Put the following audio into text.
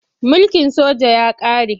Mulkin soja ya ƙare.